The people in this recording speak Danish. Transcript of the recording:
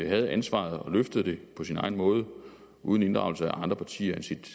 havde ansvaret og løftede det på sin egen måde uden at inddrage andre partier end sit